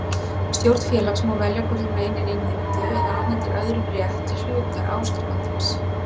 Stjórn félags má velja hvort hún reynir innheimtu eða afhendir öðrum rétt til hlutar áskrifandans.